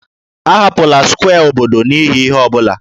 Ahapụla square obodo n'ihi ihe ọ bụla!